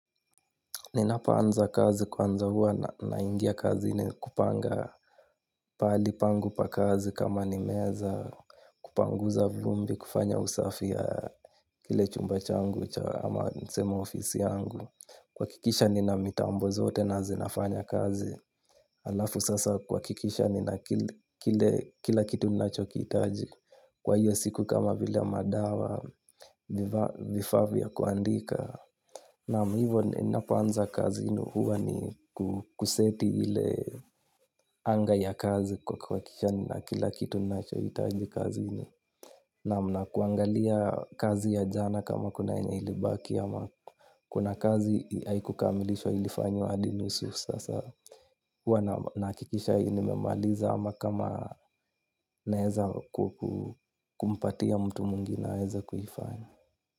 Ninapo anza kazi kwanza hua ninaingia kazini kupanga pahali pangu pa kazi kama ni meza kupanguza vumbi kufanya usafi ya ile chumba changu cha ama niseme ofisi yangu. Kuhakikisha nina mitambo zote na zinafanya kazi. Alafu sasa kuhakikisha nina kila kitu ninachokitaji. Kwa hiyo siku kama vile madawa vifaa vya kuandika. Naam hivyo nina poanza kazi ndio huwa ni kuseti ile anga ya kazi kwa kuhakikisha nina kila kitu ninaicho hitaji kazini. Naam nak uangalia kazi ya jana kama kuna yenye ilibaki ama kuna kazi haiku kamilishwa ilifanywa hadi nusu sasa. Huwa nahakikisha hili nimemaliza ama kama naweza kumpatia mtu mwingine aweze kuifanya.